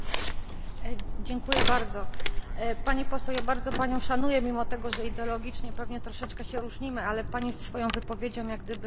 Pani Poseł, bardzo panią szanuję, mimo że ideologicznie pewnie troszeczkę się różnimy, ale Pani swoją wypowiedzią jak gdyby sprowokowała mnie do zadania pytania.